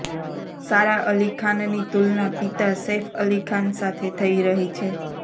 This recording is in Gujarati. સારા અલી ખાનની તુલના પિતા સૈફ અલી ખાન સાથે થઈ રહી છે